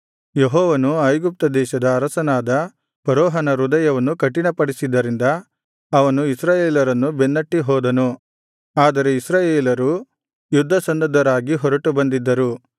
ಯೆಹೋವನು ಐಗುಪ್ತ ದೇಶದ ಅರಸನಾದ ಫರೋಹನ ಹೃದಯವನ್ನು ಕಠಿಣಪಡಿಸಿದ್ದರಿಂದ ಅವನು ಇಸ್ರಾಯೇಲರನ್ನು ಬೆನ್ನಟ್ಟಿಹೋದನು ಆದರೆ ಇಸ್ರಾಯೇಲರು ಯುದ್ಧಸನ್ನದ್ಧರಾಗಿ ಹೊರಟು ಬಂದಿದ್ದರು